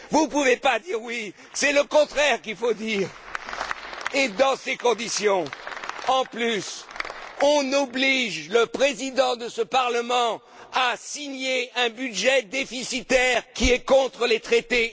Vous ne pouvez pas dire oui. C'est le contraire qu'il faut dire Dans ces conditions, en plus, on oblige le Président de ce Parlement à signer un budget déficitaire, qui va à l'encontre des traités.